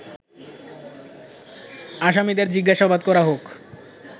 আসামিদের জিজ্ঞাসাবাদ করা হোক